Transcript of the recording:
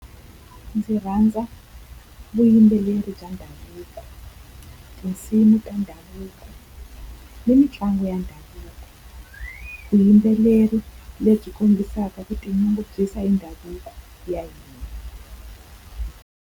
Ndzi rhandza vuyimbeleri bya ndhavuko, tinsimu ta ndhavuko, ni mitlangu ya ndhavuko. Vuyimbeleri lebyi kombisaka ku tinyungubyisa hi ndhavuko ya hina.